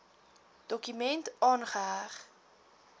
dokument aangeheg